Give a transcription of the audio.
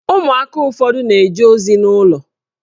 Ụmụaka ụfọdụ na-eje ozi n'ụlọ